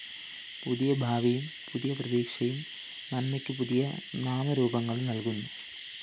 പുതിയ ഭാവിയും പുതിയ പ്രതീക്ഷയും നന്മയ്ക്കു പുതിയ നാമരൂപങ്ങളും നല്‍കുന്നു